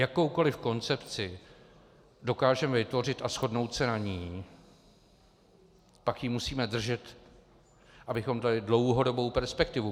Jakoukoliv koncepci dokážeme vytvořit a shodnout se na ní, pak ji musíme držet, abychom dali dlouhodobou perspektivu.